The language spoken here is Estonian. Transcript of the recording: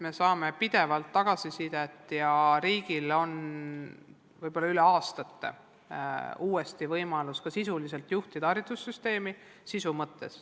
Me saame pidevalt tagasisidet ja riigil on võib-olla üle aastate uuesti võimalus ka õppe sisu mõttes haridussüsteemi juhtida.